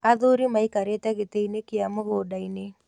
Athuri maikarĩte gĩtĩ-inĩ kĩa mũgũnda-inĩ.